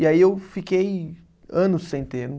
E aí eu fiquei anos sem ter.